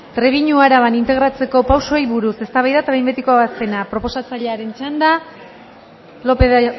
trebiñu araban integratzeko pausoei buruz eztabaida eta behin betiko ebazpena proposatzailearen txanda lopez de